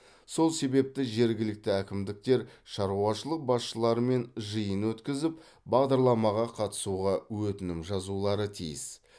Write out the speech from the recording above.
сол себепті жергілікті әкімдіктер шаруашылық басшыларымен жиын өткізіп бағдарламаға қатысуға өтінім жазулары тиіс